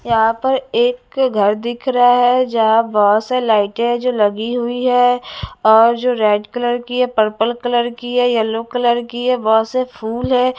यहां पर एक घर दिख रहा है जहां बहुत सारी लाइटें है जो लगी हुई है और जो रेड कलर की है पर्पल कलर की है येलो कलर की है बहुत से फूल है।